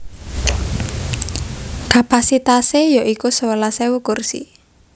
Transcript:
Kapasitasé ya iku sewelas ewu kursi